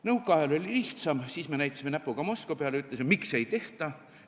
Nõukaajal oli lihtsam, siis me näitasime näpuga Moskva peale ja ütlesime, et miks ei tehta.